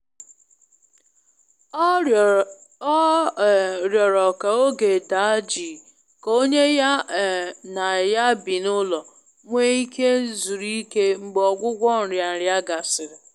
Ọ um rịọrọ ka oge daa jii ka onye ya um na ya bi n'ime ulọ nwee ike zuru ike mgbe ọgwụgwọ nria nria gasịrị.